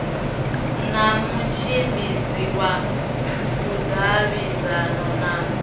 na mutshimbidzi wa vhudavhidzani na